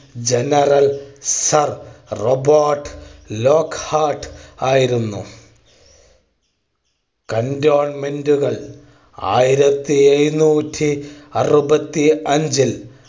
General Sir Robert Lockhart ആയിരുന്നു. cantonment കൾ ആയിരത്തി എഴുന്നൂറ്റി അറുപത്തി അഞ്ചിൽ